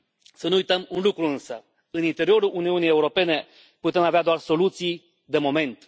Să nu uităm un lucru însă în interiorul Uniunii Europene putem avea doar soluții de moment.